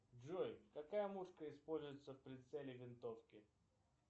джой какая мушка используется в прицеле винтовки